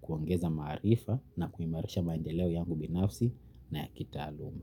Kuongeza maarifa na kuimarisha maendeleo yangu binafsi na ya kitaaluma.